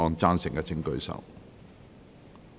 贊成的請舉手。